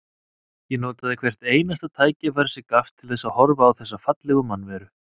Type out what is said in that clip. Ég notaði hvert einasta tækifæri sem gafst til þess að horfa á þessa fallegu mannveru.